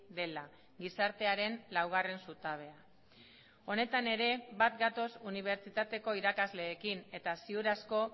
dela gizartearen laugarren zutabea honetan ere bat gatoz unibertsitateko irakasleekin eta ziur asko